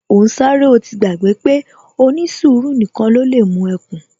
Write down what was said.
Ó ń sáré, ó ti gbàgbé pé ó ní sùúrù nìkan ni ó lè mú ẹkùn